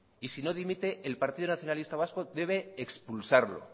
y si no dimite el partido nacionalista vasco debe expulsarlo